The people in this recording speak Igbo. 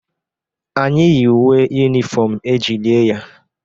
Anyị yi uwe yunifom e ji lie ya